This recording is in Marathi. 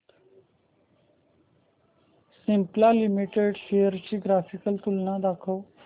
सिप्ला लिमिटेड शेअर्स ची ग्राफिकल तुलना दाखव